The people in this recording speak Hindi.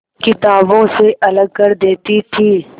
किताबों से अलग कर देती थी